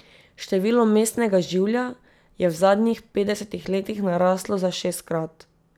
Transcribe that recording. Število mestnega življa je v zadnjih petdesetih letih naraslo za šestkrat.